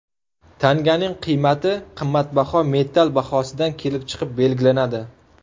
Tanganing qiymati qimmatbaho metall bahosidan kelib chiqib belgilanadi.